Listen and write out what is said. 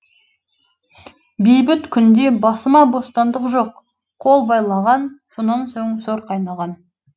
бейбіт күнде басыма бостандық жоқ қол байлаған сонан соң сор қайнаған